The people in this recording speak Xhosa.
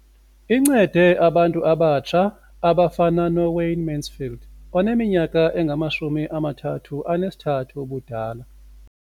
Incede abantu abatsha abafana noWayne Mansfield oneminyaka engama-33 ubudala.